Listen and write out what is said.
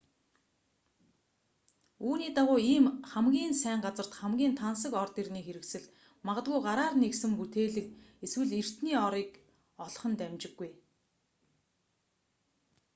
үүний дагуу ийм хамгийн сайн газарт хамгийн тансаг ор дэрний хэрэгсэл магадгүй гараар нэхсэн бүтээглэг эсвэл эртний орыг олох нь дамжиггүй